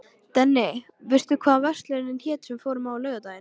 Denni, manstu hvað verslunin hét sem við fórum í á laugardaginn?